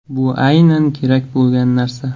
Bu aynan kerak bo‘lgan narsa.